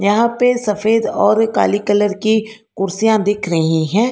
यहां पे सफेद और काली कलर की कुर्सियां दिख रही हैं।